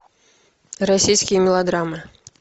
российские мелодрамы